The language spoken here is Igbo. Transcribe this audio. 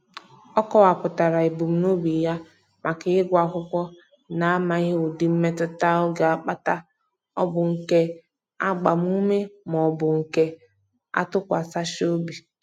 Ọ kọwapụtara ebumnobi ya maka ịgụ akwụkwọ na-amaghị ụdị mmetụta ọ ga-akpata ọ bụ nke agbamume maọbụ nke atụkwasachị obi.